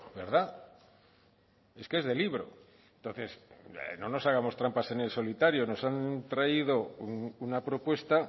verdad es que es de libro entonces no nos hagamos trampas en el solitario nos han traído una propuesta